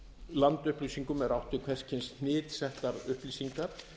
landupplýsingum e átt við hvers kyns hnitsettar upplýsingar